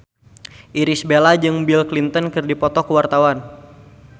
Irish Bella jeung Bill Clinton keur dipoto ku wartawan